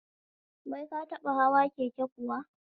Wai ka taɓa hawa keke kuwa?